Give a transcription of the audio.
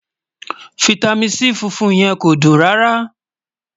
fìtámín C fúnfún yẹ̀n kò dùn rárá